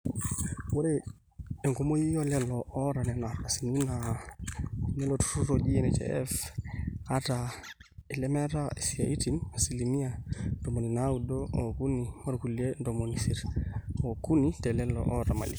ore enkumoi oolelo oota nena ardasini naa inilo turrur oji NHIF ata ilemeeta isiatin asilimia ntomoni naaudo ookuni orkulie ntomoni isiet ookuni telelo oota imali